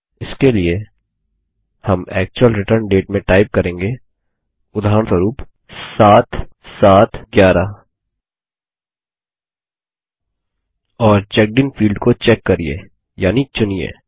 इसके लिए हम एक्चुअल रिटर्न डेट में टाइप करेंगे उदाहरणस्वरुप 7711 और चेक्ड इन फील्ड को चेक करिये यानि चुनिए